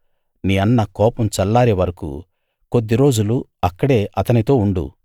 నీ అన్న కోపం చల్లారే వరకూ కొద్ది రోజులు అక్కడే అతనితోనే ఉండు